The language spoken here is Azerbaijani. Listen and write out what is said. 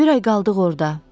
Bir ay qaldıq orda.